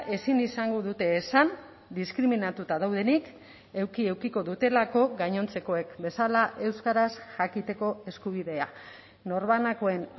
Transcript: ezin izango dute esan diskriminatuta daudenik eduki edukiko dutelako gainontzekoek bezala euskaraz jakiteko eskubidea norbanakoen